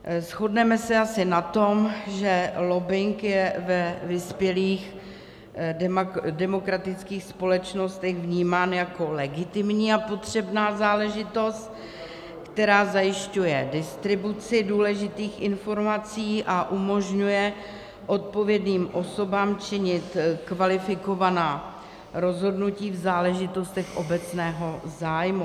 Shodneme se asi na tom, že lobbing je ve vyspělých demokratických společnostech vnímán jako legitimní a potřebná záležitost, která zajišťuje distribuci důležitých informací a umožňuje odpovědným osobám činit kvalifikovaná rozhodnutí v záležitostech obecného zájmu.